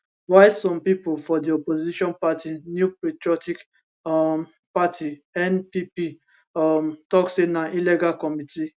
while some pipo for di opposition party new patriotic um party npp um tok say na illegal committee